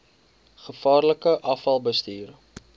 gevaarlike afval bestuur